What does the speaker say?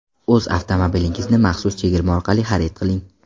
O‘z avtomobilingizni maxsus chegirma orqali xarid qiling.